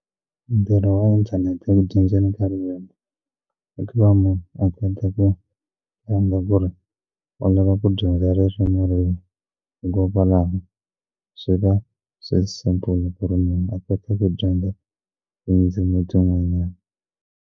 Ntirho wa inthanete eku dyondzeni ka ririmi i ku va munhu a endla ku ri u lava ku dyondza ririmi rihi manguva lawa swi va swi ri simple ku ri munhu a kota ku dyondza tindzimi tin'wanyana.